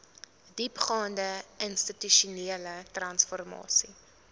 diepgaande institusionele transformasie